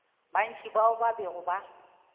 bantši bao ba bego ba